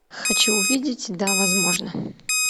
хочу увидеть да возможно